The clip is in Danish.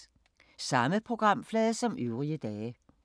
Samme programflade som øvrige dage